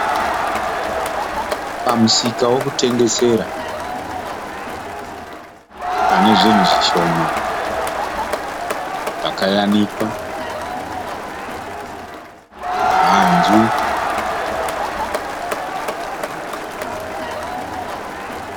Pamusika wekutengesera pane zvinhu zvishoma zvakayanikwa, hanzu.